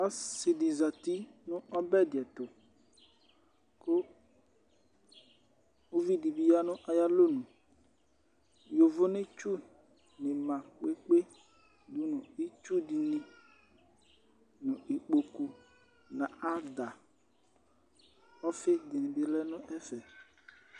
Ɔsi di zati nú ɔbɛ dì ɛtu ku uvi di bi ya nu ayialɔnu, yovonetsu ma kpekpe, itsu di ni, n'ikpoku, n'adã, ɔfi di bi lɛ n'ɛfɛ